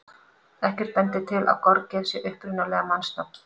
Ekkert bendir til að gorgeir sé upprunalega mannsnafn.